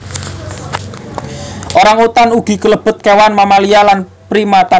Orang utan ugi kalebet kewan mamalia lan primata